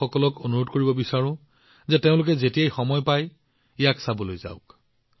মই যুৱসকলক অনুৰোধ জনাইছো যে যেতিয়াই তেওঁলোকে সময় পায় তেওঁলোকে এয়া চাবলৈ যাব